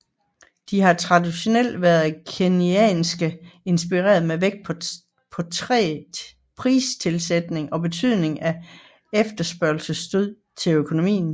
De har traditionelt været keynesiansk inspirerede med vægt på træg pristilpasning og betydningen af efterspørgselsstød til økonomien